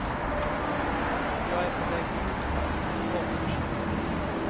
Jag är på väg utför, bort.